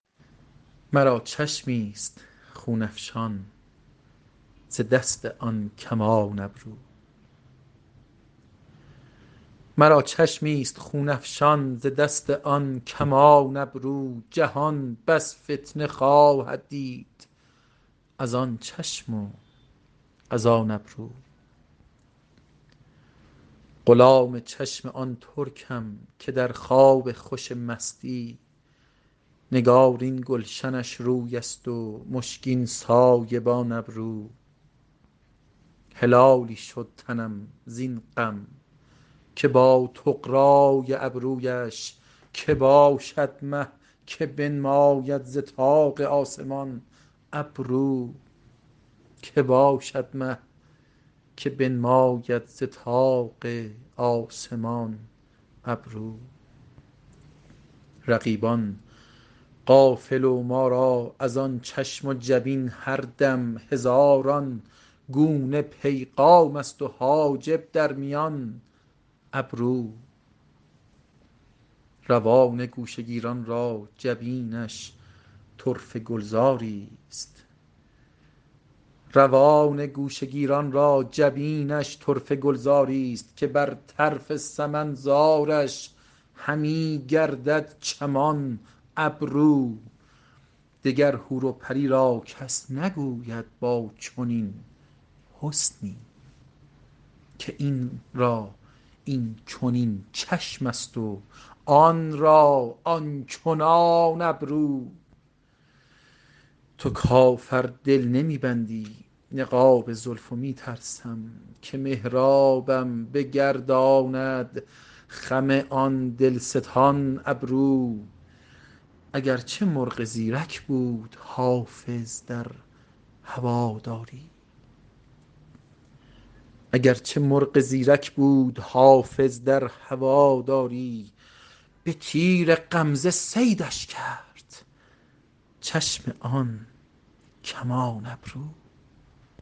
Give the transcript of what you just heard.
مرا چشمی ست خون افشان ز دست آن کمان ابرو جهان بس فتنه خواهد دید از آن چشم و از آن ابرو غلام چشم آن ترکم که در خواب خوش مستی نگارین گلشنش روی است و مشکین سایبان ابرو هلالی شد تنم زین غم که با طغرا ی ابرو یش که باشد مه که بنماید ز طاق آسمان ابرو رقیبان غافل و ما را از آن چشم و جبین هر دم هزاران گونه پیغام است و حاجب در میان ابرو روان گوشه گیران را جبینش طرفه گلزار ی ست که بر طرف سمن زارش همی گردد چمان ابرو دگر حور و پری را کس نگوید با چنین حسنی که این را این چنین چشم است و آن را آن چنان ابرو تو کافر دل نمی بندی نقاب زلف و می ترسم که محرابم بگرداند خم آن دل ستان ابرو اگر چه مرغ زیرک بود حافظ در هوادار ی به تیر غمزه صیدش کرد چشم آن کمان ابرو